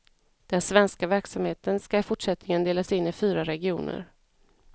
Den svenska verksamheten ska i fortsättningen delas in i fyra regioner.